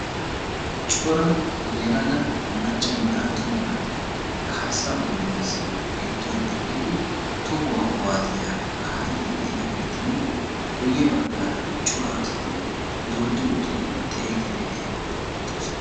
cora yela maccanne attsuma naaati kaasaa dembaassi giduwan eqqidi tohuwa kuwaasiya kaa'iyageetinne guye bagaara asati xeeliidi de'oosona.